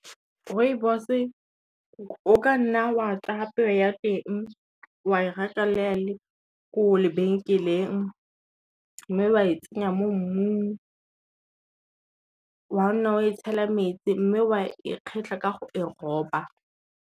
Rooibos o ka nna wa tsaya peo ya teng wa e reka le ga e le ko lebenkeleng, mme wa e tsenya mo mmung, wa nna wa e tshela metsi mme wa e kgetlha ka go e roba.